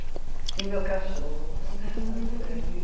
E o meu cachorro, a Sally.